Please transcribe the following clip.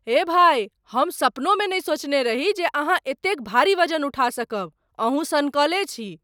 हे भाइ! हम सपनोमे नहि सोचने रही जे अहाँ एतेक भारी वजन उठा सकब, अहूँ सनकले छी!